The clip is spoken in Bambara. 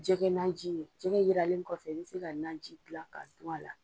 Jɛgɛ naji jɛgɛ jiralen kɔfɛ i bɛ se ka naji dila k'a dun a la.